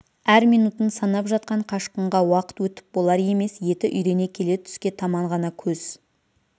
әр минутын санап жатқан қашқынға уақыт өтіп болар емес еті үйрене келе түске таман ғана көз